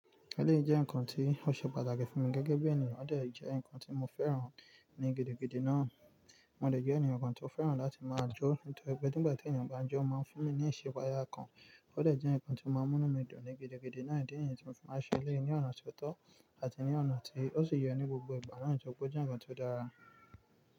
Eléyìí jẹ nǹkan tí ó ṣe pàtàkì fún mi gẹ́gẹ́ bí ènìyàn. Ó dẹ̀ jẹ́ nǹkan tí mo fẹ́ràn ní gidigidi náà. Mo dẹ̀ jẹ́ ènìyàn kan tó fẹ́ràn láti máa jó nítorí pe nígbàtí èèyàn bá ń jó ó máa ń fún mi ní ìṣípayá kan. Ó dẹ̀ jẹ́ nǹkan tí ó máa ń mú inú mi dùn ní gidigidi náà, idí nìyẹn tí mo fi ma n ṣe eleyii ni ọ̀nà ti ó tọ́ àti ní ọ̀nà tí ó sì yẹ ní gbogbo ìgbà náà toripe o jẹ nkan ti ó dára.